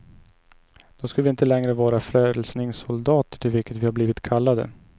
Då skulle vi inte längre vara frälsningssoldater, till vilket vi har blivit kallade.